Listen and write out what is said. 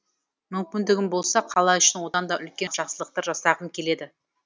мүмкіндігім болса қала үшін одан да үлкен жақсылықтар жасағым келеді